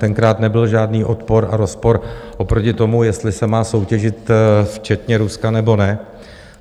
Tenkrát nebyl žádný odpor a rozpor oproti tomu, jestli se má soutěžit včetně Ruska, nebo ne.